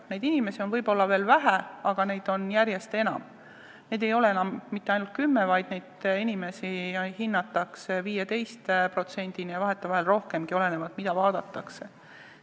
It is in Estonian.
Selliseid inimesi, keda need uudsed töötamise vormid puudutavad, on võib-olla veel vähe, aga neid on järjest enam, neid ei ole enam mitte ainult 10%, vaid hinnatakse, et neid on kuni 15%, vahetevahel rohkemgi, olenevalt sellest, mida vaadatakse.